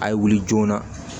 A ye wuli joona